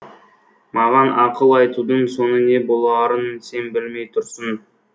маған ақыл айтудың соңы не боларын сен білмей тұрсың